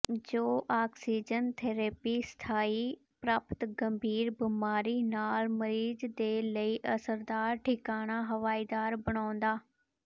ਜੋ oxygen therapy ਸਥਾਈ ਪ੍ਰਾਪਤ ਗੰਭੀਰ ਬਿਮਾਰੀ ਨਾਲ ਮਰੀਜ਼ ਦੇ ਲਈ ਅਸਰਦਾਰ ਠਿਕਾਣਾ ਹਵਾਦਾਰੀ ਬਣਾਉਣਾ